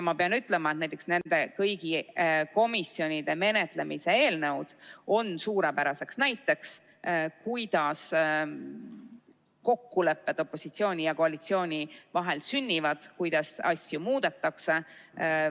Ma pean ütlema, et kõik komisjonides menetletavad eelnõud on suurepärane näide sellest, kuidas kokkulepped opositsiooni ja koalitsiooni vahel sünnivad ning kuidas asju muudetakse.